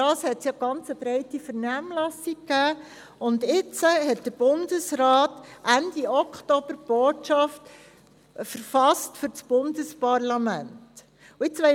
Es wurde eine sehr breite Vernehmlassung durchgeführt, und Ende Oktober hat der Bundesrat die Botschaft für das Bundesparlament verfasst.